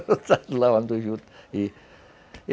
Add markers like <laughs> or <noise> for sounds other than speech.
<laughs> lavando juta, e